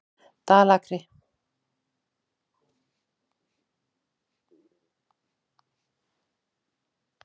Breki Logason: Hvernig leið þér að sjá hann ganga hérna inn í réttarsalinn?